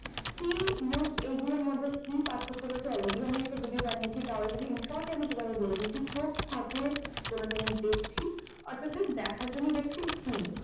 see look এগুলোর মধ্যে কি পার্থক্য রয়েছে already আমি একটা video বানিয়েছি তাও আমি এখানে short এ আমি তোমাদের বলে দিচ্ছি চোখ থাকলে কোনো জিনিস দেখছি অর্থাৎ এই দেখার জন্য দেখছি see